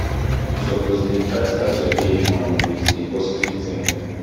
you suppose dey try start your day um wit di positive thinking